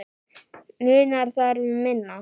Munar þar um minna.